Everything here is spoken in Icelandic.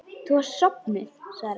Þú varst sofnuð, svara ég.